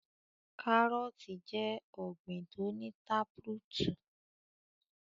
Kárọọ̀tì jẹ ọ̀gbin tó ní táprútù.